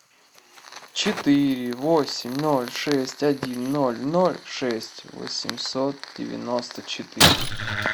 четыре восемь ноль шесть один ноль ноль шесть восемьсот девяносто четыре